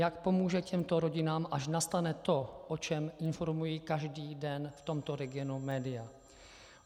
Jak pomůže těmto rodinám, až nastane to, o čem informují každý den v tomto regionu média.